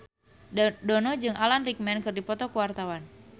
Dono jeung Alan Rickman keur dipoto ku wartawan